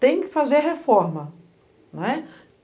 Tem que fazer reforma.